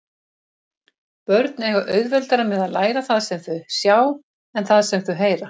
Börn eiga auðveldara með að læra það sem þau sjá en það sem þau heyra.